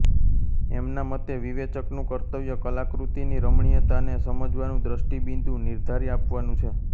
એમના મતે વિવેચકનું કર્તવ્ય કલાકૃતિની રમણીયતાને સમજવાનું દ્રષ્ટિબિંદુ નિર્ધારી આપવાનું છે